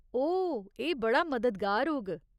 ओह्, एह् बड़ा मददगार होग।